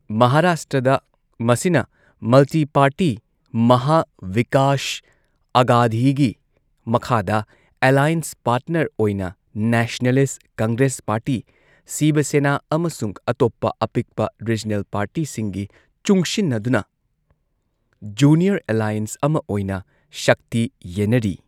ꯃꯍꯥꯔꯥꯁꯇ꯭ꯔꯗ ꯃꯁꯤꯅ multi party ꯃꯍꯥ ꯕꯤꯀꯥꯁ ꯑꯘꯗꯤꯒꯤ ꯃꯈꯥꯗ ꯑꯦꯂꯥꯏꯟꯁ ꯄꯥꯔꯠꯅꯔ ꯑꯣꯏꯅ ꯅꯦꯁꯅꯦꯂꯤꯁꯠ ꯀꯪꯒ꯭ꯔꯦꯁ ꯄꯥꯔꯇꯤ, ꯁꯤꯕ ꯁꯦꯅꯥ ꯑꯃꯁꯨꯡ ꯑꯇꯣꯞꯄ ꯑꯄꯤꯛꯄ ꯔꯤꯖꯅꯦꯜ ꯄꯥꯔꯇꯤꯁꯤꯡꯒꯤ ꯆꯨꯡꯁꯤꯟꯅꯗꯨꯅ ꯖꯨꯅꯤꯌꯔ ꯑꯦꯂꯥꯏꯟꯁ ꯑꯃ ꯑꯣꯏꯅ ꯁꯛꯇꯤ ꯌꯦꯟꯅꯔꯤ꯫